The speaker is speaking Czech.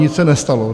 Nic se nestalo.